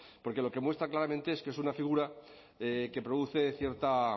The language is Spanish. porque lo que muestra claramente es que es una figura que produce cierta